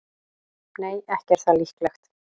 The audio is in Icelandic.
Nei, ekki er það líklegt.